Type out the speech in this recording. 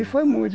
E foi